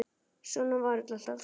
Svona var þetta alltaf.